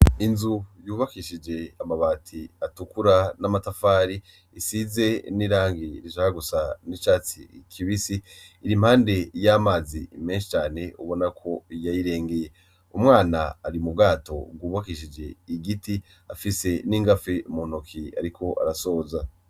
Inzu yubakishije amabati atukura n'amatafari isize n'irangi rishaka gusa n'icatsi kibisi iri imbande y'amazii menshi cane ubona ko yayirengeye, umwana ari mu bwato bwubakishije igiti afise n'ingafe mu ntoki ariko arasoza.